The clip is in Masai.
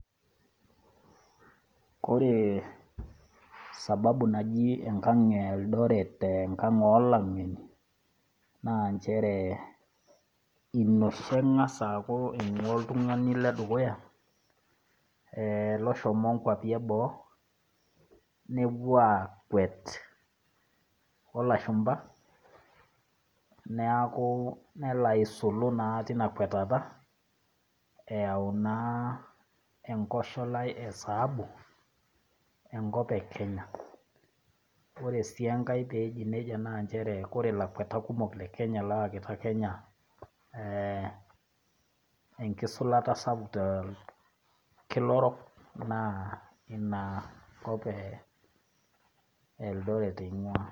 Koree sababu naaji enkang' Eldoret, enkang' olang'eni na nchere, ilosho eng'as aaku ing'ua oltung'ani ledukuya e loshomo nkwapi e boo nepuo aakwet olashumba nelo aisulu naa tina kwatata eyau naa enkosholai esaabu enkop e Kenya. Ore si enkae peji nejia na ore lakwatak kumok lekenya oyakitia Kenya enkisulata sapuk torkila orok na inakop e Eldoret ing'ua.